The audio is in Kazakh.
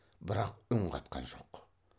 бірақ үн қатқан жоқ